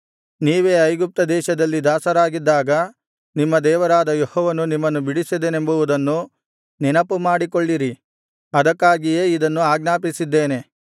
ನೀವೇ ಐಗುಪ್ತದೇಶದಲ್ಲಿ ದಾಸರಾಗಿದ್ದಾಗ ನಿಮ್ಮ ದೇವರಾದ ಯೆಹೋವನು ನಿಮ್ಮನ್ನು ಬಿಡಿಸಿದನೆಂಬುವುದನ್ನು ನೆನಪುಮಾಡಿಕೊಳ್ಳಿರಿ ಅದಕ್ಕಾಗಿಯೇ ಇದನ್ನು ಆಜ್ಞಾಪಿಸಿದ್ದೇನೆ